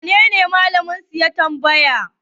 wanene Malaminsu ya tamabaya?